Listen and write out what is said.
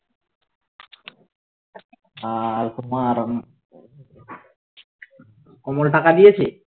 আর তোমার কমল টাকা দিয়েছে